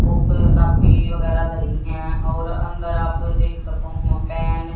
book copy वगैराह दरी है और अंदर आप देख सकूं हो पेन --